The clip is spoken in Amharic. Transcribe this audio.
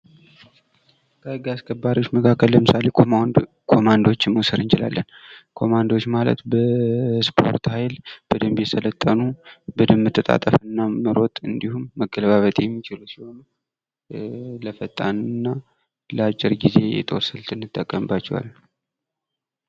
ከህግ አስከባሪዎች መካከል ለምሳሌ ኮማንዶዎችን መውሰድ እንችላለን ።ኮማንዶዎች ማለት በስፖርት ኃይል በደንብ የሰለጠኑ በደንብ መተጣጥፍና መሮጥ እንዲሁም መገለባበጥ የሚችሉ ሲሆን ለፈጣን እና ለአጭር ጊዜ የጦር ስልት እንጠቀምባቸዋለን።